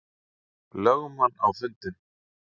lögmann á fundinn.